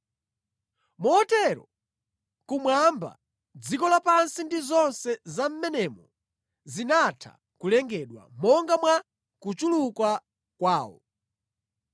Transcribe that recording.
Motero kumwamba, dziko lapansi ndi zonse za mʼmenemo zinatha kulengedwa monga mwa kuchuluka kwawo.